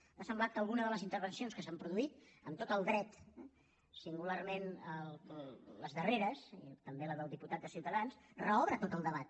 m’ha semblat que alguna de les intervencions que s’han produït amb tot el dret eh singularment les darreres i també la del diputat de ciutadans reobre tot el debat